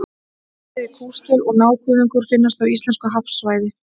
Bæði kúskel og nákuðungur finnast á íslensku hafsvæði.